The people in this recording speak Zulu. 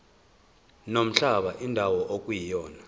nomhlaba indawo ekuyona